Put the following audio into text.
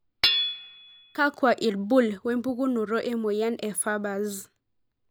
kakwa ilbul wempukunoto emoyian e farber's?